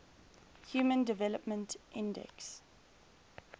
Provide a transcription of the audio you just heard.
human development index